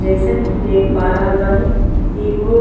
जईसन कि देख पा रहल बानी एगो --